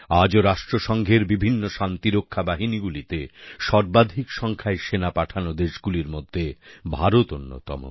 আজও রাষ্ট্রসঙ্ঘের বিভিন্ন শান্তিরক্ষা বাহিনীগুলিতে সর্বাধিক সংখ্যায় সেনা পাঠানো দেশগুলির মধ্যে ভারত অন্যতম